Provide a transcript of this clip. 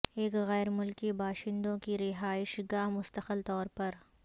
ایک غیر ملکی باشندوں کی رہائش گاہ مستقل طور پر